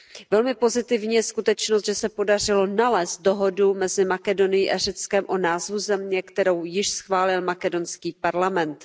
Velmi pozitivní je skutečnost, že se podařilo nalézt dohodu mezi Makedonií a Řeckem o názvu země, kterou již schválil makedonský parlament.